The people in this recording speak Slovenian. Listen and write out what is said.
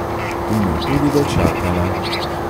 In jo tudi dočakala.